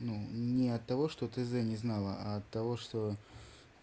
ну не от того что ты за не знала от того что